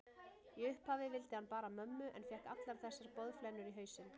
Í upphafi vildi hann bara mömmu en fékk allar þessar boðflennur í hausinn.